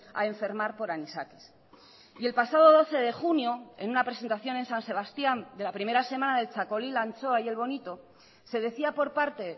a enfermar por anisakis y el pasado doce de junio en una presentación en san sebastián de la primera semana del txakoli la anchoa y el bonito se decía por parte